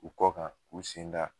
U kɔ kan u sen ga